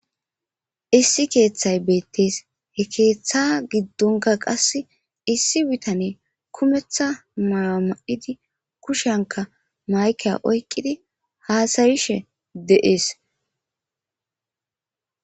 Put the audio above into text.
Issi kethayi betesi he ketha gidonikka qassi issi bitaneyi kumetha mayuwa ma'idi kushiyanika mayikiya oyiqidi hassayishe deyesi.